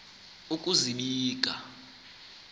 ukuzibika